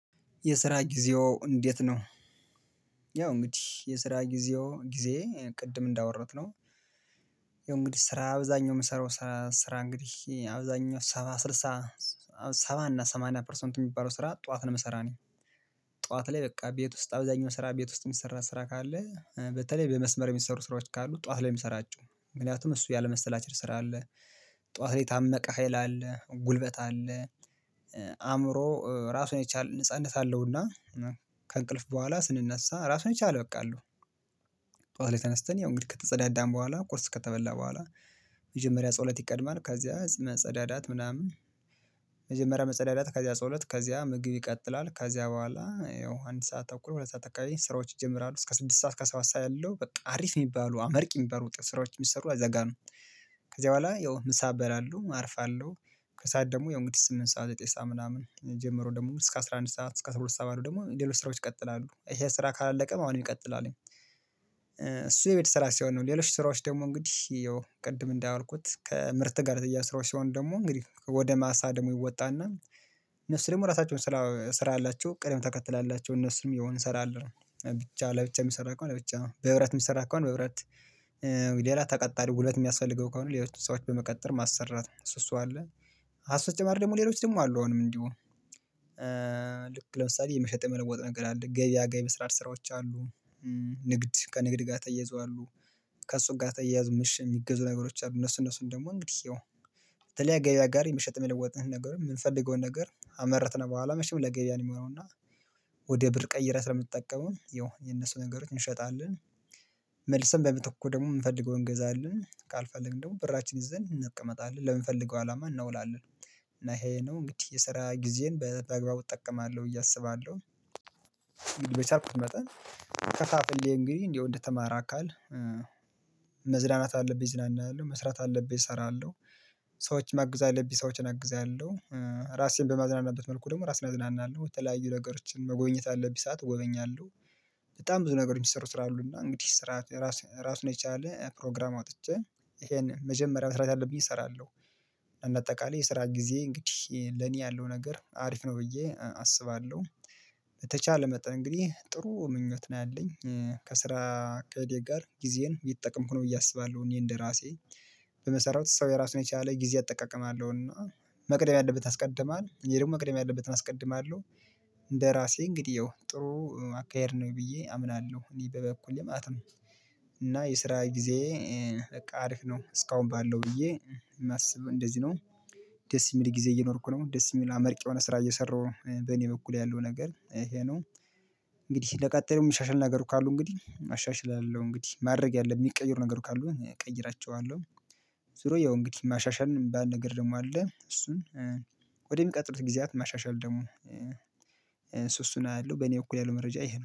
የስራ ጊዜው እንዴት ነው? ያው እንግዲህ የስራ ጊዜው ጊዜዬ ቅድም እንዳወራሁት ነው። ያው እንግዲህ ስራ አብዛኛው የምሰራው ስራ እንግዲህ አብዛኛው ሰባ ስልሳ ሰባ እና ሰማንያ ፐርሰንት የሚባለው ስራ ጠዋት ነው መሰራት ነው። ጠዋት ላይ በቃ ቤት ውስጥ አብዛኛው ስራ ቤት ውስጥ የሚሰራ ስራ ካለ በተለይ በመስመር የሚሰሩ ስራዎች ካሉ ጠዋት ላይ ነውምሰራቸው ምክንያቱም እሱ ያለመሰላቸት ስራ አለ። ጠዋት ላይ የታመቀ ሀይል አለ ጉልበት አለ። አእምሮ ራሱን የቻል ነጻነት አለውና። ከእንቅልፍ በኋላ ስንነሳ ራሱን ይቻላል በቃ አሉ። በኋላ ላይ ተነስተን ያው እንግዲህ ከተጸዳዳን በኋላ ቁርስ ከተበላ በኋላ መጀመሪያ ጸውለት ይቀድማል ከዛ መጸዳዳት ምናምን። መጀመሪያ መጸዳዳት ከዚያ ጸሎት ከዚያ ምግብ ይቀጥላል ከዚያ በኋላ ያው አንድ ሰዓት ተኩል ሁለት ሰዓት አካባቢ ስራዎች ይጀምራሉ። እስከ ስድስት ሰዓት እስከ አስራሁለ ሰዓት ያለው በቃ አሪፍ የሚባሉ አመርቂ የሚበሩት ስራዎች የሚሰሩ አዘጋ ነው። ከዚያ በኋላ ያው ምሳ በላሉሁ አርፋለሁ። ከሰአት ደግሞ ያው እንግዲህ ስምንት ሰዓት ዘጠኝ ሰኣ ምናምን ጀመሩ ደግሞ እስከ አስራ አንድ ሰዓት እስከ አስራ ሁለት ሰዓት ባሉ ደግሞ ሌሎች ስራዎች ይቀጥላሉ ይሄ ስራ ካላለቀም አሁንም ይቀጥላል። እሱ የቤት ስራ ሳይሆን ነው ሌሎች ስራዎች ደግሞ እንግዲህ ያው ቅድም እንዳያውልኩት ከምርት ጋር የተያያዘ ስራዎች ሲሆን ደግሞ እንግዲህ ወደ ማሳ ደግሞ ይወጣና። እነሱ ደግሞ ራሳቸውን ስራ ስራ አላቸው ቀደም ተከትላላቸው እነሱም የሆኑ ስራ እንሰራለን። ብቻ ለብቻ የሚሰራ እኮ አለ ብቻ በህብረት የሚሰራ እኮ አለ በህብረት። ሌላ ተቀጣሪ ሁለት የሚያስፈልገው ከሆነ ሌሎች ሰዎች በመቀጠር ማሰራት እሱ እሱ አለ። ከሱ በተጨማሪ ደግሞ ሌሎች ደግሞ አሉ አሁንም እንዲሆን። ልክ ለምሳሌ የመሸጥ መለወጥ ነገር አለ ገበያ ገቢ ስራዎች ስራዎች አሉ። ንግድ ከንግድ ጋር ተያይዞ አሉ። ከእሱ ጋር ተያይዞ ማሸ የሚገዙ ነገሮች አሉ እነሱ እነሱን ደግሞ እንግዲህ ያው። በተለያየ ጋር የምሸጥ የለወጥንህ ነገር የምንፈልገውን ነገር ሃመረትን በኋላ መቼም ለገበያ ነው የሚሆነው እና። ወደ ብር ቀይረህ ስለምትጠቀመው የነሱ ነገሮችን እንሸጣለን። መልሰን በመትኩ ደግሞ የምንፈልገውን እንገዛለን ካልፈለግን ደግሞ ብራችን ይዘን እንቀመጣለን ለምንፈልገው አላማ እናውላለን እና ይሄ ነው እንግዲህ የስራ ጊዜን በአግባቡ እጠቀማለሁ ብዬ አስባለሁ። በቻልኩት መጠን። ከፋፍሌ እንግዲህ እንደው እንደተማረ አካል። መዝናናት አለብኝ እዝናናለሁ መስራት አለብኝ እሰራለሁ። ሰዎች ማገዝ አለብኝ ሰዎችን አግዛለሁ። ራሴን በማዝናናበት መልኩ ደግሞ ራስን አዝናናለሁ በተለያዩ ነገሮችን መጎብኘት ባለብኝ ሰዓት እጎበኛለሁ። በጣም ብዙ ነገሮች የሚሰሩ ስራ አሉ እና እንግዲህ ስራ ራስ ራሱን የቻለ ፕሮግራም አውጥቼ። ይሄን መጀመሪያ መስራት አለብኝ እሰራለሁ። እንደ አጠቃላይ የስራ ጊዜዬ እንግዲህ ለኔ ያለው ነገር አሪፍ ነው ብዬ አስባለሁ። በተቻለ መጠን እንግዲህ ጥሩ ምኞት ነው ያለኝ። ከስራ እቅዴ ጋር ጊዜን እየጠቀምኩ ነው ብዬ አስባለሁ እኔ እንደራሴ። በምሰራው ሰው የራሱን የቻለ ጊዜ አጠቃቀም አለው እና። መቅደም ያለበት ያስቀድማል እኔ ደግሞ መቅደም ያለበትን አስቀድማለሁ። እንግዲህ ይኸው ጥሩ አካሄድ ነው ብዬ አምናለሁ እኔ በበኩሌ ማለት ነው። እና የስራ ጊዜዬ። በቃ አሪፍ ነው እስካሁን ባለው ብዬ የማስበው እንደዚህ ነው። ደስ የሚል ጊዜ እየኖርኩ ነው ደስ የሚል አመርቂ የሆነ ስራ እየሰራሁ ነው በእኔ በኩል ያለው ነገር ይሄ ነው። እንግዲህ ለቀጣዩ የምሻሻል ነገር ካሉ እንግዲህ አሻሽላለሁ እንግዲህ ማድረግ ያለብኝ የሚቀይሩ ነገር ካሉ እቀይራቸዋለሁ። ዙሮ ያው እንግዲህ ማሻሻል የሚባል ነገር ደግሞ አለ እሱን። ወደ የሚቀጥሉት ጊዜያት ማሻሻል ደሞ። እሱሱን አያለው በእኔ እኩል ያለው መረጃ ይሄ ነው